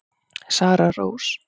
Sara Rós.